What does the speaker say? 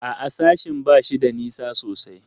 A'a, sashen ba shi da nisa sosai.